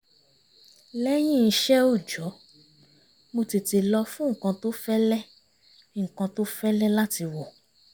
lẹ́yìn iṣẹ́ òòjọ́ mo tètè lọ fún nǹkan tó fẹ́lẹ́ nǹkan tó fẹ́lẹ́ láti wọ̀